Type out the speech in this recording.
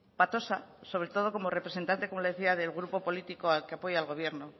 patosa sobre todo como representante como le decía del grupo político al que apoya el gobierno